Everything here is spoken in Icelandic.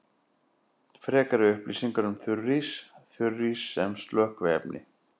Frekari upplýsingar um þurrís: Þurrís sem slökkviefni.